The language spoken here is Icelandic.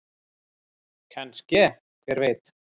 Kannske- hver veit?